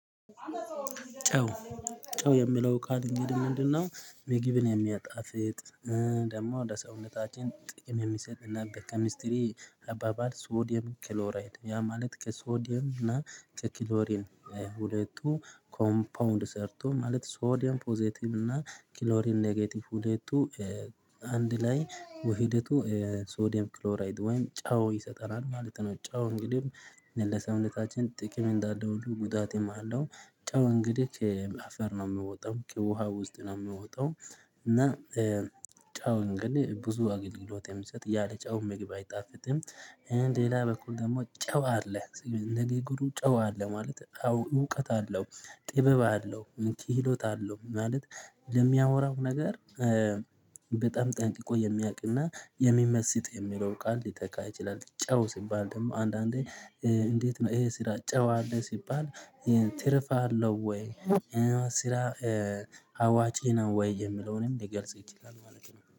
ጨው ጨው የሚለው ቃል እንግዲህ ምንድነው? ምግብን የሚያጣፍጥ ደግሞ ወደ ለሰውነታችን ጥቅም የሚሰጥና በኬሚስትሪ አባባል ሶዲየም ክሎራይድ ያ ማለት ከሶዲየም እና ከኪሎሪን ሁለቱ ኮምፓውንድ ሰርቶ ማለት ሶዲየም ፖዘቲቭ እና ክሎሪን ኔጌቲቭ ሁለቱ አንድ ላይ ውህደቱ የሶዲየም ክሎራይድ ወይም ጨው ይሰጠናል ማለት ነው። ጨው እንግዲህ ለሰውነታችን ጥቅም እንዳለ ሁሉ ጉዳት የማለው ጨው እንግዲህ ከአፈር ነው የምወጣው ከውሃ ውስጥ ነው የምወጣው። እና ጨው እንግዲህ ብዙ አገልግሎት የሚሰጥ ያለ ጫው ምግብ አይጣፍጥም። ሌላ በኩል ደግሞ ጨው አለ ንግግሩን ግሩ ጨዋ አለ ማለት አዎ እውቀት አለው ጥበብ አለው ኪሎት አለው ማለት ለሚያወራው ነገር። በጣም ጠንቅቆ የሚያውቅና የሚመስጥ የሚለው ቃል ሊተካ ይችላል። ጨው ሲባል ደግሞ አንዳንዴ። እንዴት ነው ይሄ ስራ ጨው አለ ሲባል። ትርፍ አለው ወይ? ስራ አዋጪ ነው ወይ የምለውንም ሊገልጽ ይችላል ማለት ነው